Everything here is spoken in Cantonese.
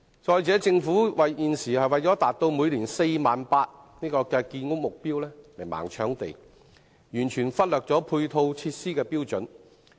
此外，政府現時為了達到每年 48,000 個單位的建屋目標而"盲搶地"，完全忽略配套設施的標準。